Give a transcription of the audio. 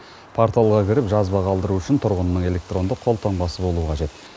порталға кіріп жазба қалдыру үшін тұрғынның электрондық қолтаңбасы болуы қажет